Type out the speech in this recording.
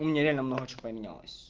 у меня реально много чего поменялось